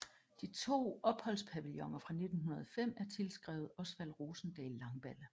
De to opholdspavilloner fra 1905 er tilskrevet Osvald Rosendahl Langballe